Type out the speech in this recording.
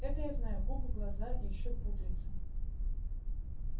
это я знаю губы глаза и ещё пудрится